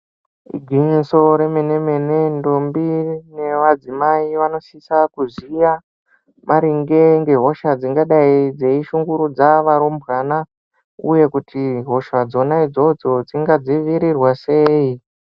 Igwinyiso remene-mene, ndombi nevadzimai vanosisa kuziya maringe ngehosha dzingadayi dzeyishungurudza varumbwana, uye kuti hosha dzona idzodzo dzingadzivirirwa sei?